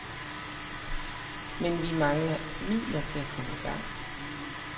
Men vi mangler midlerne til at komme i gang.